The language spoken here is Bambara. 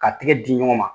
Ka tigɛ di ɲɔgɔn ma